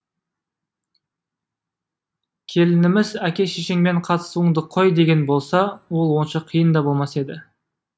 келініміз әке шешеңмен қатысуыңды қой деген болса ол онша қиын да болмас еді